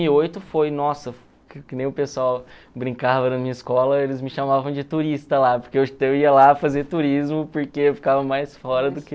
e oito foi, nossa, que nem o pessoal brincava na minha escola, eles me chamavam de turista lá, porque eu eu ia lá fazer turismo, porque eu ficava mais fora do que...